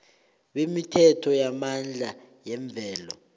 bemithombo yamandla yemvelo